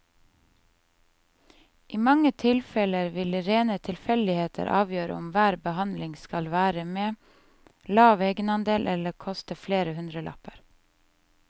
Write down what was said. I mange tilfeller vil rene tilfeldigheter avgjøre om hver behandling skal være med lav egenandel eller koste flere hundrelapper.